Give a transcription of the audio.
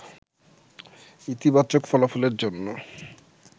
ইতিবাচক ফলাফলের জন্য